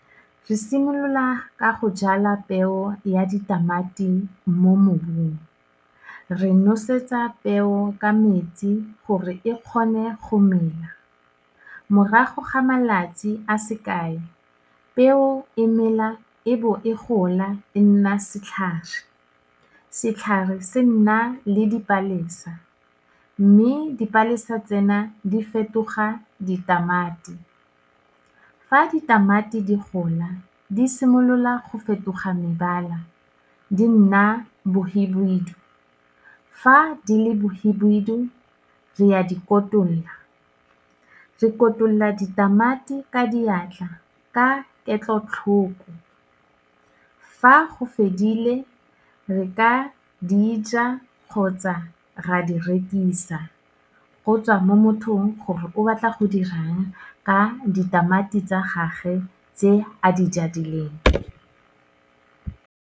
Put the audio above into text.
Re simolola ka go jala peo ya ditamati mo mmobung, re nosetsa peo ka metsi gore e kgone go mela, morago ga malatsi a sekae peo e mela e bo e gola e nna setlhare, setlhare se nna le dipalesa, mme dipalesa tsena di fetoga ditamati, fa ditamati di gola di simolola go fetoga mebala, di nna bohibidu fa di le bohibidu re a dikotulola, re kotula ditamati ka diatla, ka ketlotlhoko, fa go fedile re ka dija kgotsa ra di rekisa, go tswa mo mothong gore o batla go dirang ka ditamati tsa gage tse a di jadileng.